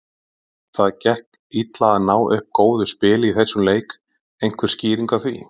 Það gekk illa að ná upp góðu spili í þessum leik, einhver skýring á því?